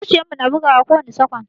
Zuciyar mu na bugawa kowani sakwan.